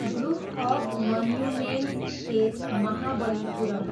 group of monuments at Mahabalipuram